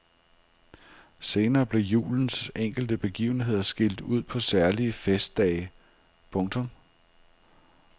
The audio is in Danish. Senere blev julens enkelte begivenheder skilt ud på særlige festdage. punktum